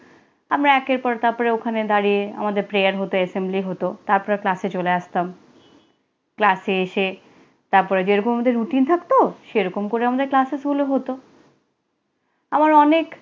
আমরা একের পর তারপরে ওখানে দাঁড়িয়ে আমাদের prayer হতো assembly হতো। তারপরে ক্লাসে চলে আসতাম। ক্লাসে এসে তারপরে যেরকম আমাদের রুটিন থাকতো, সেরকম করে আমাদের ক্লাসও চালু হতো। আবার অনেক